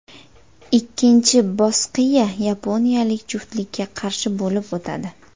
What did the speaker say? Ikkinchi bosqiya yaponiyalik juftlikka qarshi bo‘lib o‘tadi.